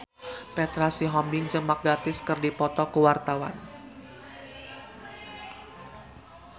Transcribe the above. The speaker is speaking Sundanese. Petra Sihombing jeung Mark Gatiss keur dipoto ku wartawan